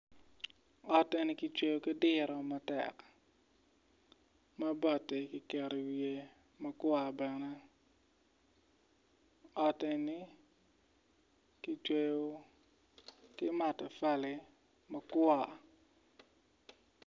Ot eni kicweyo ki diro matek ma bati kiketo i wiye ma kwa bene ot eni ki cweyo ki matafali ma kwa.